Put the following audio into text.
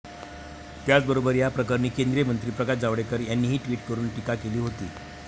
त्याचबरोबर या प्रकरणी केंद्रीय मंत्री प्रकाश जावडेकर यांनीही ट्विट करून टीका केली होती.